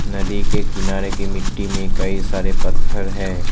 नदी के किनारे की मिट्टी में कई सारे पत्थर है।